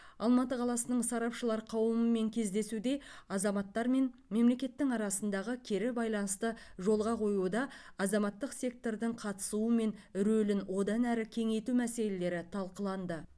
алматы қаласының сарапшылар қауымымен кездесуде азаматтар мен мемлекеттің арасындағы кері байланысты жолға қоюда азаматтық сектордың қатысуы мен рөлін одан әрі кеңейту мәселелері талқыланды